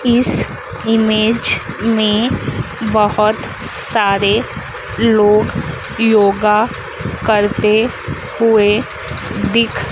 इस इमेज में बहुत सारे लोग योगा करते हुए दिख--